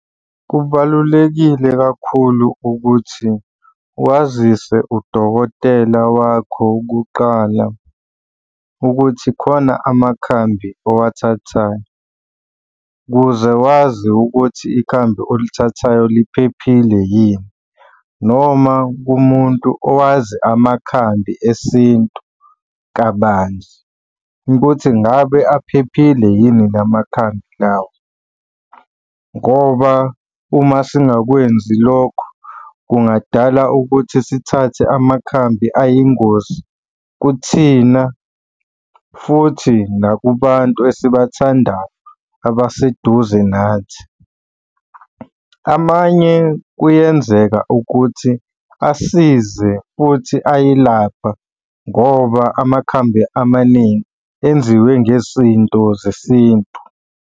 Kubalulekile kakhulu ukuthi wazise udokotela wakho kuqala ukuthi khona amakhambi owathathayo, ukuze wazi ukuthi ikhambi olithathayo liphephile yini, noma kumuntu owazi amakhambi esintu kabanzi ukuthi ngabe aphephile yini la makhambi lawo, ngoba uma singakwenzi lokho kungadala ukuthi sithathe amakhambi ayingozi kuthina futhi nakubantu esibathandayo abaseduze nathi. Amanye kuyenzeka ukuthi asize futhi ayelapha ngoba amakhambi amaningi enziwe ngezinto zesintu.